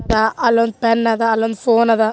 ದಾ ಅಲ್ಲೋಂದ್ ಪೆನ್ ಅದ ಅಲ್ಲೋಂದ್ ಫೋನ್ ಅದ.